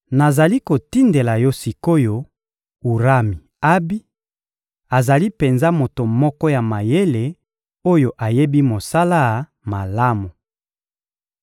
Nazali kotindela yo sik’oyo Urami-Abi; azali penza moto moko ya mayele oyo ayebi mosala malamu.